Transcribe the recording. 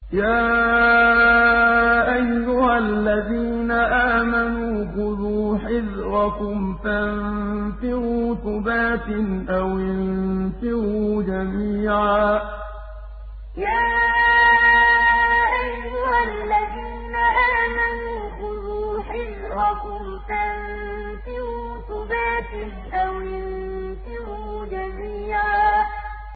يَا أَيُّهَا الَّذِينَ آمَنُوا خُذُوا حِذْرَكُمْ فَانفِرُوا ثُبَاتٍ أَوِ انفِرُوا جَمِيعًا يَا أَيُّهَا الَّذِينَ آمَنُوا خُذُوا حِذْرَكُمْ فَانفِرُوا ثُبَاتٍ أَوِ انفِرُوا جَمِيعًا